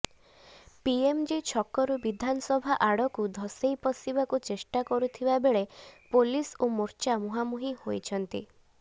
PMG ଛକରୁ ବିଧାନସଭା ଆଡକୁ ଧସେଇ ପଶିବାକୁ ଚେଷ୍ଟା କରୁଥିବା ବେଳେ ପୋଲିସ ଓ ମୋର୍ଚ୍ଚା ମୁହାଁମୁହିଁ ହୋଇଛନ୍ତି